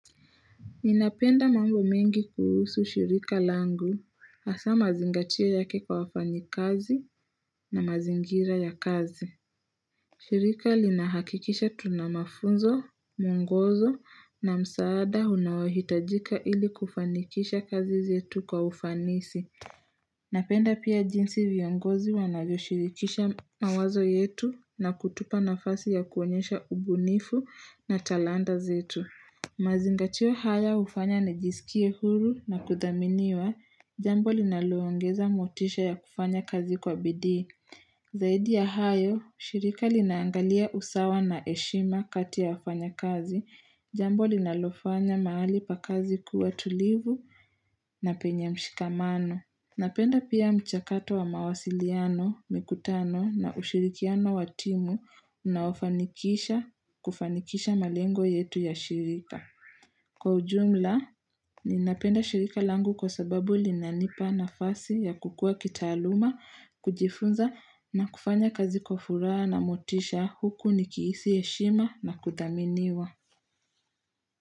Napenda mambo mengi kuhusu shirika langu, hasa mazingatio yake kwa wafanyikazi na mazingira ya kazi. Shirika linahakikisha tuna mafunzo, mungozo na msaada unaohitajika ili kufanikisha kazi zetu kwa ufanisi. Napenda pia jinsi viongozi wanajoshirikisha mawazo yetu na kutupa nafasi ya kuonyesha ubunifu na talanda zetu. Mazingatio haya hufanya nijisikie huru na kudhaminiwa, jambo linaloongeza motisha ya kufanya kazi kwa bidii. Zaidi ya hayo, shirika linaangalia usawa na eshima kati ya wafanya kazi, jambo linalofanya mahali pa kazi kuwa tulivu na penye mshikamano. Napenda pia mchakato wa mawasiliano, mikutano na ushirikiano watimu unaofanikisha kufanikisha malengo yetu ya shirika. Kwa ujumla, ninapenda shirika langu kwa sababu linanipa nafasi ya kukua kitaaluma, kujifunza na kufanya kazi kwa furaha na motisha huku nikihisi heshima na kudhaminiwa.